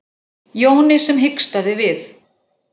Jóni sem hikstaði við.